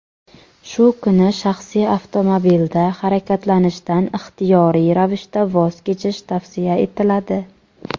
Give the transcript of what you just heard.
Shu kuni shaxsiy avtomobilda harakatlanishdan ixtiyoriy ravishda voz kechish tavsiya etiladi.